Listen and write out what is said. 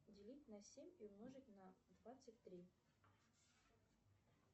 делить на семь и умножить на двадцать три